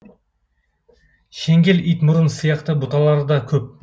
шеңгел итмұрын сияқты бұталары да көп